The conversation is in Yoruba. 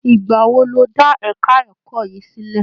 Ì̀gbà wo lọ́ dá ẹ̀ka ẹ̀kọ́ yìí sílẹ̀?